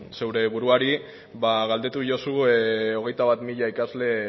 zure buruari ba galdeiozu hogeita bat mila ikasle